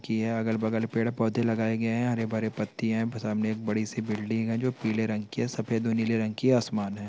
की अगल-बगल पेड़-पौधे लगाए गए हैं हरे-भरे पत्तियां है सामने एक बड़ी-सी बिल्डिंग है जो पीले रंग की है सफेद और नीले रंग की आसमान है।